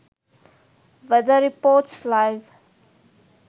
weather reports live